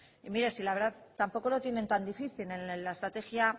mire si la verdad tampoco lo tiene tan difícil en la estrategia